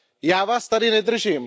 Já Vás tady nedržím.